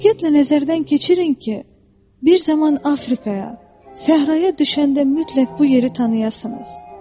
Diqqətlə nəzərdən keçirin ki, bir zaman Afrikaya, səhraya düşəndə mütləq bu yeri tanıyasınız.